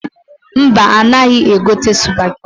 Mba, ha anaghị egote sụpageti.